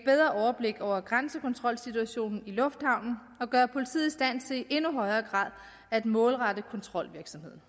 overblik over grænsekontrolsituationen i lufthavnen og gøre politiet i stand til i endnu højere grad at målrette kontrolvirksomheden